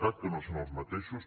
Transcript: cat que no són els mateixos